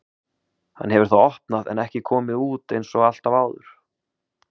Hann hefur þá opnað en ekki komið út einsog alltaf áður.